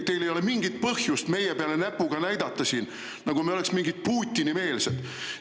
Teil ei ole mingit põhjust meie peale näpuga näidata, nagu me oleks mingid Putini-meelsed!